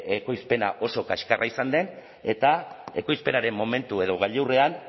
ekoizpena oso kaskarra izan den eta ekoizpenaren momentu edo gailurrean